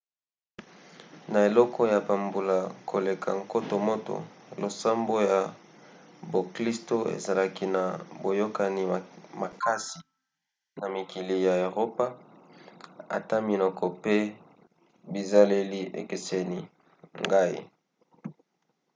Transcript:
na eleko ya bambula koleka nkoto moko losambo ya boklisto ezalaki na boyokani makasi na mikili ya eropa ata minoko pe bizaleli ekeseni. ngai